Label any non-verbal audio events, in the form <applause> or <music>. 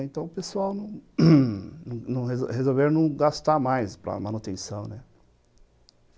Então o pessoal <coughs> resolveu não gastar mais para manutenção, né?